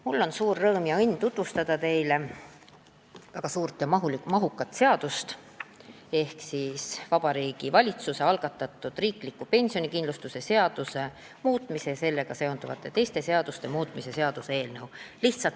Mul on suur õnn ja rõõm tutvustada teile väga suurt ja mahukat seadust, Vabariigi Valitsuse algatatud riikliku pensionikindlustuse seaduse muutmise ja sellega seonduvalt teiste seaduste muutmise seaduse eelnõu.